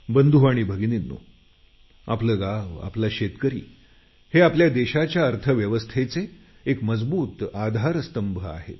बंधु आणि भगिनींनो आपलं गाव आपला शेतकरी हे आपल्या देशाच्या अर्थव्यवस्थेचे एक मजबूत आधारस्तंभ आहे